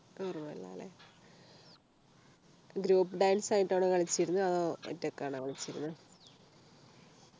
ഓർമ്മയില്ല ല്ലേ Group dance ആയിട്ടാണോ കളിച്ചിരുന്നത് അതോ ഒറ്റക്കാണോ കളിച്ചിരുന്നത്